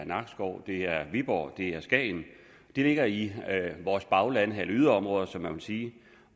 nakskov i viborg i skagen de ligger i vores bagland eller yderområder som man vil sige